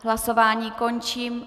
Hlasování končím.